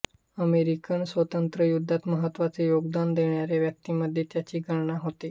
American स्वातंत्र्ययुद्धात महत्त्वाचे योगदान देणाऱ्या व्यक्तींमध्ये त्याची गणना होते